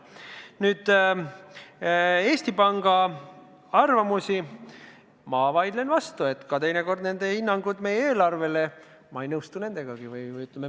Mis puutub Eesti Panga arvamustesse, millele ma vaidlen vastu, siis ma teinekord ei nõustu ka nende hinnangutega meie eelarvele.